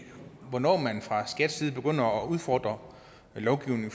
hvornår man fra skats side begynder at udfordre lovgivningen